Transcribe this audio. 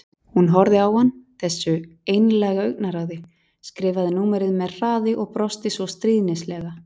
Hún horfði á hann, þessu einlæga augnaráði, skrifaði númerið með hraði og brosti svo stríðnislega.